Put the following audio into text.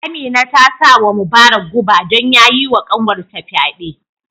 Amina ta sa wa Mubarak guba don ya yi wa kanwar ta fyade